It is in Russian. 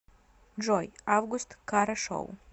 джой август кара шоу